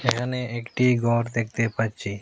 এখানে একটি ঘর দেখতে পাচ্ছি।